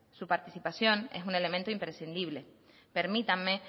su participación es un elemento imprescindible permítanme